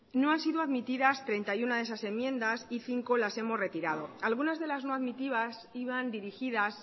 no han sido admitidas treinta y uno de esas enmiendas y cinco las hemos retirado algunas de las no admitidas iban dirigidas